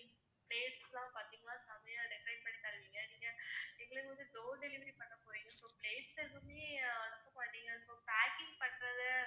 place லாம் பாத்திங்கன்னா செமயா decorate பண்ணி தருவிங்க நீங்க எங்களுக்கு வந்து door delivery பண்ண போறீங்க so place அனுப்ப மாட்டீங்க so packing பண்றத